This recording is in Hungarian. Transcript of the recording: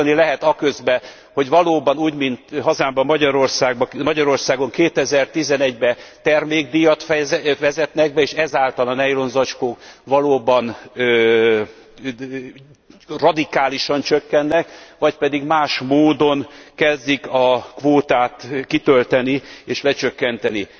Választani lehet aközött, hogy valóban úgy, mint hazámban, Magyarországon 2011 ben termékdíjat vezetnek be, és ezáltal a nejlonzacskók valóban radikálisan csökkennek, vagy pedig más módon kezdik a kvótát kitölteni és lecsökkenteni.